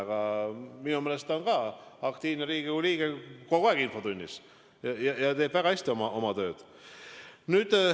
Aga minu meelest on ta aktiivne Riigikogu liige, kogu aeg infotunnis ja teeb väga hästi oma oma tööd.